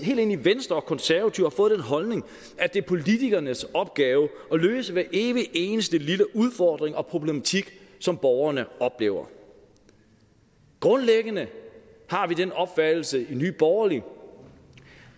helt ind i venstre og konservative har fået den holdning at det er politikernes opgave at løse hver evig eneste lille udfordring og problematik som borgerne oplever grundlæggende har vi den opfattelse i nye borgerlige